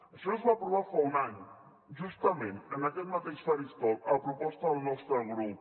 això es va aprovar fa un any justament en aquest mateix faristol a proposta del nostre grup